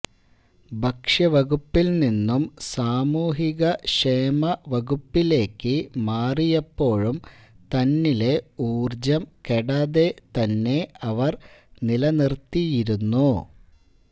ഭക്ഷ്യവകുപ്പില് നിന്നും സാമൂഹിക ക്ഷേമവകുപ്പിലേക്ക് മാറിയപ്പോഴും തന്നിലെ ഊര്ജം കെടാതെ തന്നെ അവര് നിലനിര്ത്തിയിരുന്നു